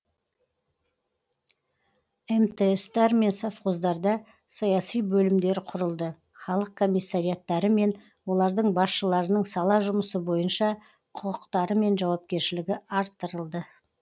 мтс тар мен совхоздарда саяси бөлімдер құрылды халық комиссариаттары мен олардың басшыларының сала жұмысы бойынша құқықтары мен жауапкершілігі арттырылды